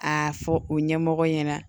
A fɔ u ɲɛmɔgɔ ɲɛna